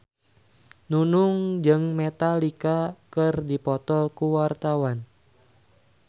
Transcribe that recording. Nunung jeung Metallica keur dipoto ku wartawan